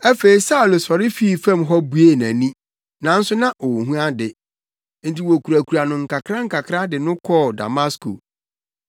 Afei Saulo sɔre fii fam hɔ buee nʼani, nanso na onhu ade. Enti wokurakura no nkakrankakra de no kɔɔ Damasko.